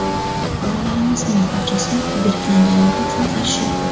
Fuqarolarimizning barchasi berkilganligi uchun qarshi.